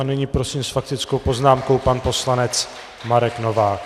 A nyní prosím s faktickou poznámkou pan poslanec Marek Novák.